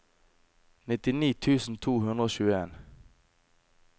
nittini tusen to hundre og tjueen